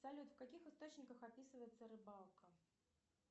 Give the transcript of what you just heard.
салют в каких источниках описывается рыбалка